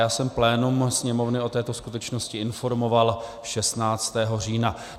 Já jsem plénum Sněmovny o této skutečnosti informoval 16. října.